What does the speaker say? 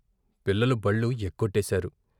పిల్లలు బళ్ళు ఎగ్గొట్టేశారు.